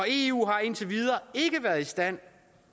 eu har indtil videre ikke været i stand